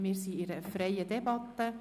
Wir führen eine freie Debatte.